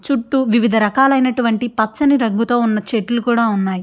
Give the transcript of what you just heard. చుట్టూ వివిధ రకాలైనటువంటి పచ్చని రంగుతో ఉన్న చెట్లు కూడా ఉన్నాయి.